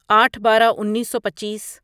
آٹھ بارہ انیسو پچیس